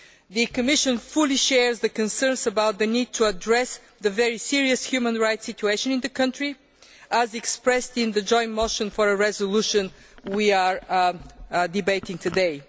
The Commission fully shares the concerns about the need to address the very serious human rights situation in the country, as expressed in the joint motion for a resolution we are debating today.